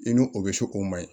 I n'o o bɛ so o ma ɲi